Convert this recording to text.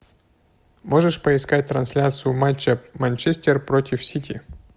можешь поискать трансляцию матча манчестер против сити